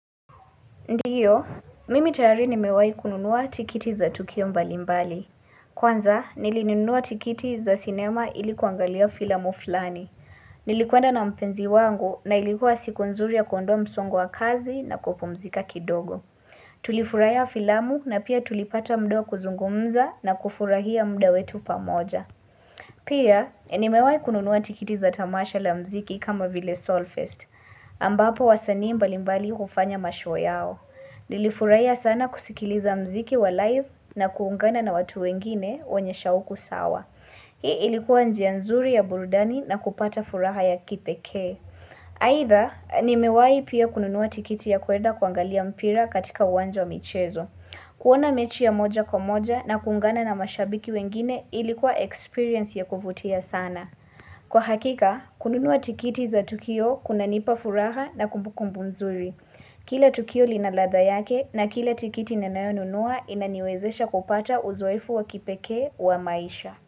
Ndio, mimi tayari nimewa kununua tikiti za tukio mbalimbali. Kwanza, nilinunua tikiti za sinema ilikuangalia filamu fulani. Nilikwenda na mpenzi wangu na ilikuwa siku nzuri ya kondoa msongo wa kazi na kupumzika kidogo. Tulifurahia filamu na pia tulipata muda wa kuzungumza na kufurahia mda wetu pamoja. Pia, nimewa kununua tikiti za tamasha la mziki kama vile Solfest. Ambapo wasanii mbalimbali hufanya mashow yao. Nilifurahia sana kusikiliza mziki wa live na kuungana na watu wengine wanyeshauku sawa. Hii ilikuwa njia nzuri ya burudani na kupata furaha ya kipekee. Aidha, nimewai pia kununuwa tikiti ya kueda kuangalia mpira katika uwanja wa michezo. Kuona mechi ya moja kwa moja na kuungana na mashabiki wengine ilikuwa experience ya kuvutia sana. Kwa hakika, kununua tikiti za tukio kuna nipa furaha na kumbukumbu nzuri. Kila tukio linalradha yake na kila tikiti ni nayonunua inaniwezesha kupata uzoefu wakipekee wa maisha.